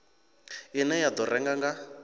ine ya do rera nga